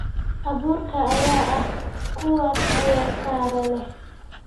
Abuurka ayaa ah kuwa tayo sare leh.